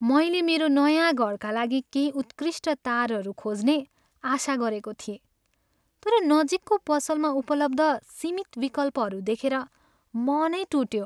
मैले मेरो नयाँ घरका लागि केही उत्कृष्ट तारहरू खोज्ने आशा गरेको थिएँ, तर नजिकको पसलमा उपलब्ध सीमित विकल्पहरू देखेर मनै टुट्यो।